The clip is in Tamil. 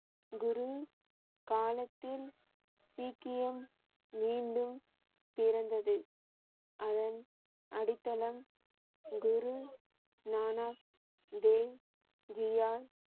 குரு காலத்தில் சீக்கியம் மீண்டும் பிறந்தது. அதன் அடித்தளம் குரு நானக் தேவ் ஜியால்